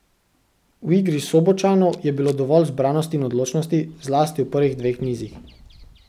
V igri Sobočanov je bilo dovolj zbranosti in odločnosti, zlasti v prvih dveh nizih.